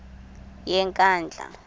yenkandla